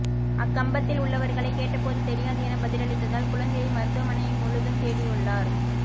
அக்கம்பக்கத்தில் உள்ளவர்களை கேட்டபோது தெரியாது என பதிலளித்ததால் குழந்தையை மருத்துவமனை முழுதும் தேடியுள்ளார்